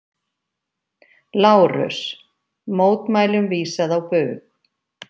LÁRUS: Mótmælum vísað á bug.